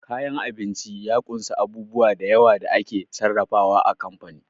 Kayan abinci ya kunsa a bubu dayawa da ake sarrafa wa a kamfani